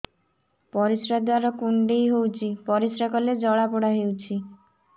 ପରିଶ୍ରା ଦ୍ୱାର କୁଣ୍ଡେଇ ହେଉଚି ପରିଶ୍ରା କଲେ ଜଳାପୋଡା ହେଉଛି